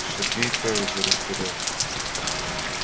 сергей также растерялся